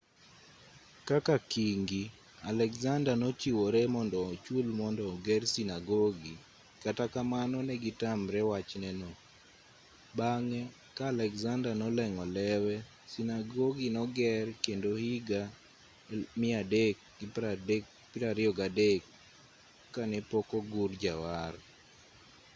kaka kingi alexander nochiwre mondo ochul mondo oger sinagogi kata kamano negitamre wachneno bang'e ka alexander noleng'o lewe sinagogi noger kendo higa 323 kanepokogur jawar